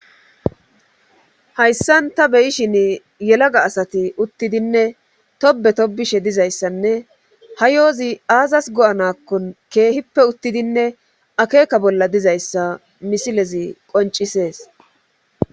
Hayssan ta beyishin yelaga asati uttidinne tobe tobishe dizayssanne ha yoozi aazas go7anakkon keehippe uttidinne akeeka bolla dizayssa misilezi qoncisees.